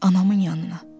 Anamın yanına.